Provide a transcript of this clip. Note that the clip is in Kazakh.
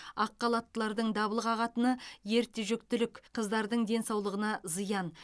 ақ халаттылардың дабыл қағатыны ерте жүктілік қыздардың денсаулығына зиян